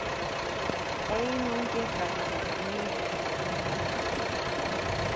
Einungis vegna þess að hún vill það.